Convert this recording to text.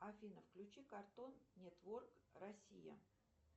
афина включи картон нетворк россия